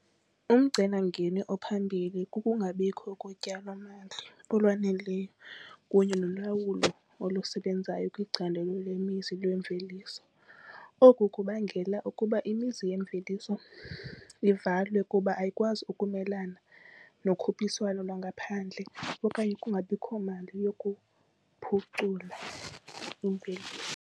Umcelimngeni ophambili kukungabikho kotyalomali olwaneleyo kunye nolawulo olusebenzayo kwicandelo lemizi lwemveliso. Oku kubangela ukuba imizi yemveliso ivalwe kuba ayikwazi ukumelana nokhuphiswano lwangaphandle okanye kungabikho mali yokuphucula imveliso.